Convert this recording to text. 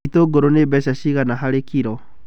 Itũngũrũ nĩ mbeca cigana harĩ kiro?